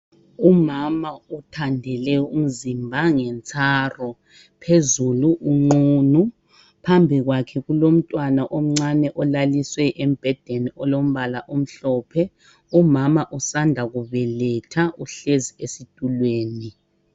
Umama uthandele umzimba ngetsaru phezulu unqunu. Phambi kwakhe kulommtwana omncane olaliswe embhedeni olombala omhlophe. Umama usanda kubeletha uhlezi esitulweni.